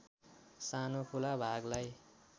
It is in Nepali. सानो खुला भागलाई